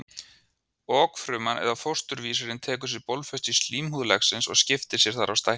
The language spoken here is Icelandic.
Okfruman eða fósturvísirinn tekur sér bólfestu í slímhúð legsins og skiptir sér þar og stækkar.